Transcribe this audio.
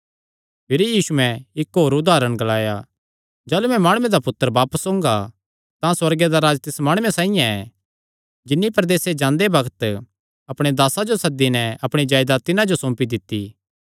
भिरी यीशुयैं इक्क होर उदारण ग्लाया जाह़लू मैं माणुये दा पुत्तर बापस ओंगा तां सुअर्गे दा राज्ज तिस माणुये साइआं ऐ जिन्नी प्रदेस जांदे बग्त अपणे दासां जो सद्दी नैं अपणी जायदात तिन्हां जो सौंपी दित्ती